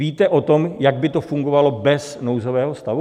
Víte o tom, jak by to fungovalo bez nouzového stavu?